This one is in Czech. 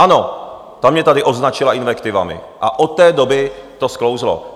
Ano, ta mě tady označila invektivami a od té doby to sklouzlo.